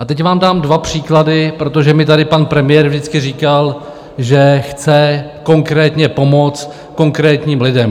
A teď vám dám dva příklady, protože mi tady pan premiér vždycky říkal, že chce konkrétně pomoct konkrétním lidem.